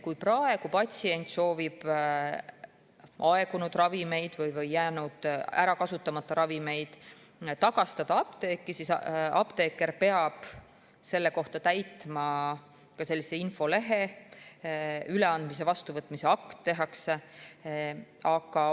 Kui praegu patsient soovib aegunud ravimeid, kasutamata ravimeid apteeki tagastada, siis peab apteeker selle kohta täitma infolehe, tehakse üleandmise ja vastuvõtmise akt.